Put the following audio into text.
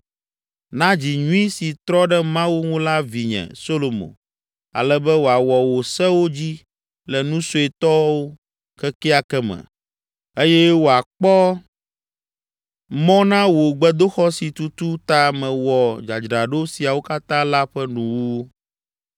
Na dzi nyui si trɔ ɖe Mawu ŋu la vinye, Solomo, ale be wòawɔ wò sewo dzi le nu suetɔwo kekeake me eye wòakpɔ mɔ na wò gbedoxɔ si tutu ta mewɔ dzadzraɖo siawo katã la ƒe nuwuwu.”